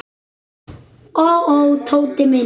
Ó, ó, Tóti minn.